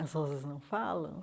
As rosas não falam?